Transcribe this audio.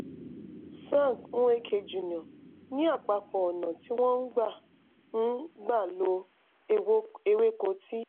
frank nweke jr. ní àpapọ̀ ọ̀nà tí wọ́n gbà ń gbà ń lo ewéko ti